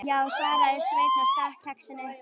Já, svaraði Sveinn og stakk kexinu upp í sig.